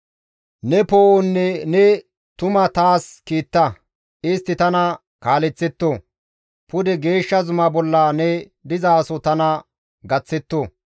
Ne poo7onne ne tuma taas kiitta; istti tana kaaleththetto; pude geeshsha zuma bolla ne dizaso tana gaththetto.